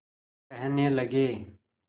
कहने लगे